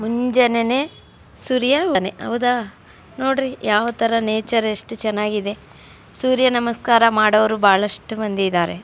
ಮುಂಜಾನೆನೆ ಸುರಿಯೋ ಮನೆ ಹೌದ ನೋಡ್ರಿ ಯಾವತರ ನೇಚರ್ ಎಷ್ಟು ಚೆನ್ನಾಗಿದೆ. ಸೂರ್ಯ ನಮಸ್ಕಾರ ಮಾಡುವವರು ಬಹಳಷ್ಟು ಮಂದಿ ಇದ್ದಾರೆ.